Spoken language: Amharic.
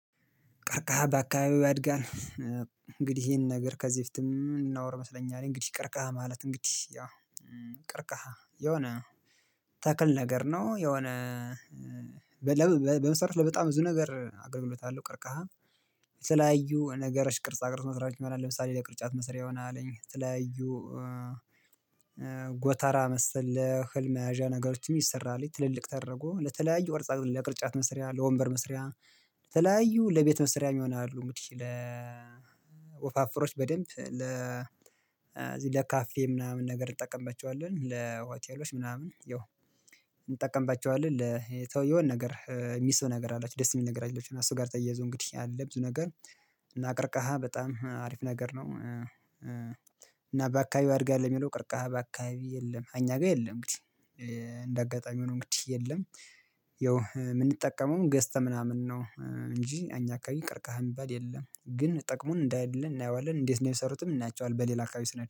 ቀርቀሃ በአካባቢው ያድጋል። እንግዲህ ይሄን ነገር ከዚህ በፊትም ምናወራ መሰለኝ አለኝ እንግዲህ ቀርቀሃ ማለት እንግዲህ ያው ቀርቀሃ የሆነ ተክል ነገር ነው። የሆነ በመሰረቱ ለበጣም ብዙ ነገር አገልግሎት አለው ቀርከሃ። የተለያዩ ነገሮች ቅርጻ ቅርጽ መስራት ይሆናል ለምሳሌ ለቅርጫት መስሪያ ይሆናል ትለያዩ ጎተራ መሰል እህል መያዣ ነገሮችም ይሰራል። ትልልቅ ተደርጎ ለተለያዩ ቅርጻ ቅርጾች ለቅርጫት መስሪያ ለወንበር መስሪያ ለተለያዩ ለቤት መስሪያም ይሆናሉ። እንግዲህ ለ ወፋፈሮች በደንብ ለ ለካፌ ምናምን ነገር እንጠቀምባቸዋለን ለሆቴሎች ምናምን ይኸው እንጠቀምባቸዋለን። ለተወየውን ነገር የሚስብ ነገር አላት ደስ የሚል ነገር አላትና ከእሱ ጋር ተያይዞ እንግዲህ ያለ ብዙ ነገር እና ቀርከሃ በጣም አሪፍ ነገር ነው። እና በአካባቢው አድርጋለሁ የሚለው ቅርቃሃ በአካባቢው የለም። አኛ ጋር የለም እንግዲህ እንደ አጋጣሚ ሆኖ እንግዲህ የለም። ያው የምንጠቀመውም ገዝተን ምናምን ነው እንጂ አኛ አካባቢ ቀርቀህ የሚባል የለም። ግን ጥቅሙን እንዳለ እናየዋለን እንዴት ነው? የሰሩትም እናያቸዋለን በሌላ አካባቢ ስንሄድ